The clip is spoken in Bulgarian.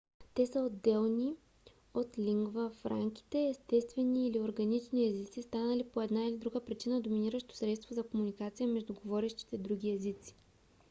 те са отделни от лингва франките - естествени или органични езици станали по една или друга причина доминиращо средство за комуникация между говорещите други езици